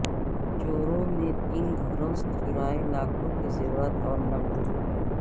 چوروں نے تین گھروں سے چرائے لاکھوں کے زیورات اور نقد روپئے